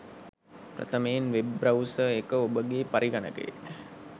ප්‍රථමයෙන් web browser එක ඔබගේ පරිඝනකයේ